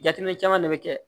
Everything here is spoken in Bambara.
Jateminɛ caman de bɛ kɛ